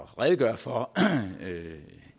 redegøre for